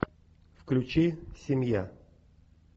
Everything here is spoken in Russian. включи семья